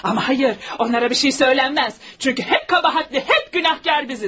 Amma xeyr, onlara bir şey söylənməz, çünki həm qəbahətli, həm günahkar biziz.